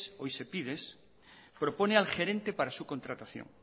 hoy sepides propone al gerente para su contratación